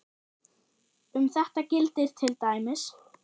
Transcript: Um þetta gildir til dæmis